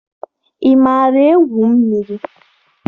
Ị maara egwu mmiri?